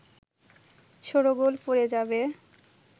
শোরগোল পড়ে যাবে